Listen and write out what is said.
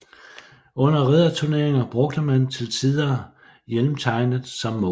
Under ridderturneringer brugte man til tider hjelmtegnet som mål